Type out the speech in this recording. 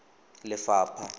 lefapha